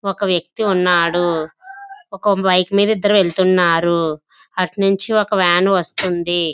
ఒక వేక్తి ఉన్నాడు .ఒక బైక్ మీద ఇద్దరు వెళ్తున్నారు అటునుంచి ఒక వన్ వస్తుంది .